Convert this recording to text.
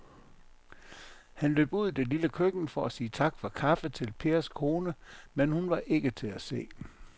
Han løb ud i det lille køkken for at sige tak for kaffe til Pers kone, men hun var ikke til at se.